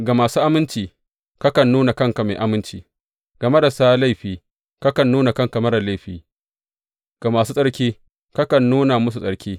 Ga masu aminci, kakan nuna kanka mai aminci, ga marasa laifi, kakan nuna kanka marar laifi, ga masu tsarki, kakan nuna musu tsarki.